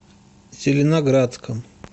зеленоградском